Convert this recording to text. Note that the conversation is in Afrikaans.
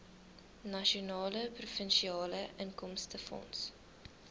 nasionale provinsiale inkomstefonds